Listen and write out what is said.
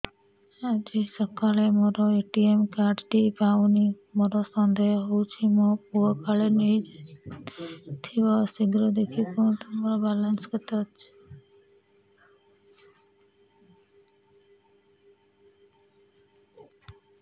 ଆଜି ସକାଳେ ମୋର ଏ.ଟି.ଏମ୍ କାର୍ଡ ଟି ପାଉନି ମୋର ସନ୍ଦେହ ହଉଚି ମୋ ପୁଅ କାଳେ ନେଇଯାଇଥିବ ଶୀଘ୍ର ଦେଖି କୁହନ୍ତୁ ମୋର ବାଲାନ୍ସ କେତେ ଅଛି